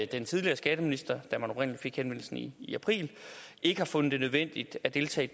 den tidligere skatteminister der oprindelig fik henvendelsen i april ikke har fundet det nødvendigt at deltage i